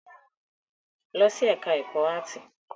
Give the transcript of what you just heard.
Lọ sí ẹ̀ká ẹ̀kọ́ áàtì!